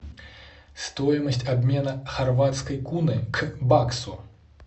стоимость обмена хорватской куны к баксу